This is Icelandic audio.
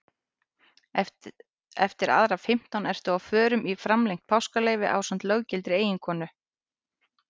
Eftir aðra fimmtán ertu á förum í framlengt páskaleyfi ásamt löggiltri eiginkonu.